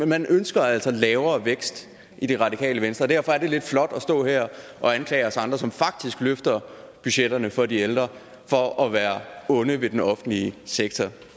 man ønsker altså lavere vækst i det radikale venstre og derfor er det lidt flot at stå her og anklage os andre som faktisk løfter budgetterne for de ældre for at være onde ved den offentlige sektor